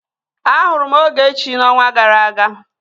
Ahụrụ m Ogechi n'ọnwa gara aga